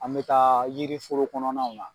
An bɛ taa yiri foro kɔnɔnaw na.